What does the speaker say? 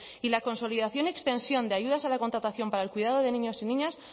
y la consolidación y extensión de ayudas a la contratación para el cuidado de niños y niñas